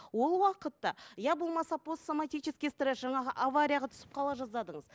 ол уақытта иә болмаса постсоматический стресс жаңағы аварияға түсіп қала жаздадыңыз